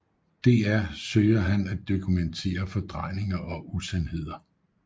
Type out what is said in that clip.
DR søger han at dokumentere fordrejninger og usandheder